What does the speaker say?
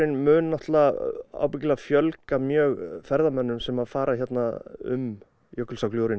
mun náttúrulega örugglega fjölga mjög ferðamönnum sem fara hérna um